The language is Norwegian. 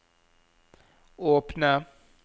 åpne